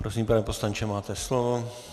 Prosím, pane poslanče, máte slovo.